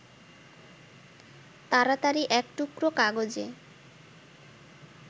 তাড়াতাড়ি এক টুকরো কাগজে